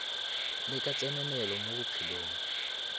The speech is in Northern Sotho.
le ka tsenelelo mo bophelong